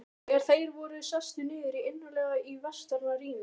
Þegar þeir voru sestir niður, innarlega í vestara rými